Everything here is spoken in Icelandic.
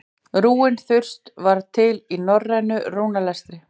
rúnin þurs var til í norrænu rúnaletri